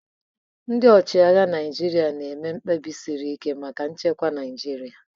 Ndị ọchịagha Naịjirịa na-eme mkpebi siri ike maka nchekwa Naịjirịa.